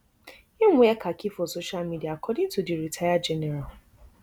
im wear khaki for social media according to di retired general